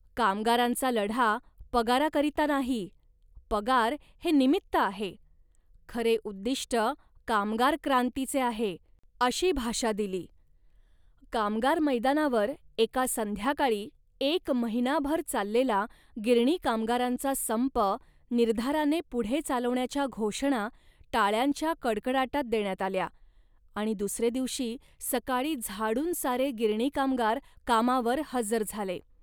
कामगारांचा लढा पगाराकरिता नाही, पगार हे निमित्त आहे, खरे उद्दिष्ट कामगार क्रांतीचे आहे,' अशी भाषा दिली. कामगार मैदानावर एका संध्याकाळी एक महिनाभर चाललेला गिरणी कामगारांचा संप निर्धाराने पुढे चालवण्याच्या घोषणा टाळ्यांच्या कडकडाटात देण्यात आल्या आणि दुसरे दिवशी सकाळी झाडून सारे गिरणी कामगार कामावर हजर झाले